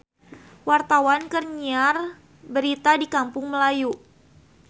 Wartawan keur nyiar berita di Kampung Melayu